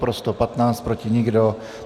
Pro 115, proti nikdo.